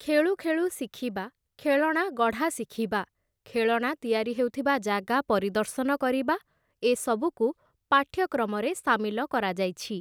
ଖେଳୁ ଖେଳୁ ଶିଖିବା, ଖେଳଣା ଗଢ଼ା ଶିଖିବା, ଖେଳଣା ତିଆରି ହେଉଥିବା ଜାଗା ପରିଦର୍ଶନ କରିବା, ଏ ସବୁକୁ ପାଠ୍ୟକ୍ରମରେ ସାମିଲ କରାଯାଇଛି ।